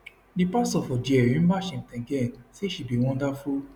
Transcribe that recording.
di pastor for dia remember cheptegei say she be wonderful